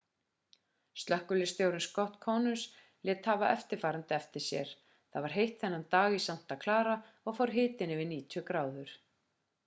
slökkviliðsstjórinn scott kouns lét hafa eftirfarandi eftir sér það var heitt þennan dag í santa clara og fór hitinn yfir 90 gráður